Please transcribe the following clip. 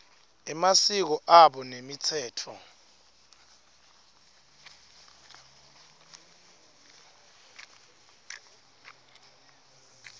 emasiko abo nemitsetfo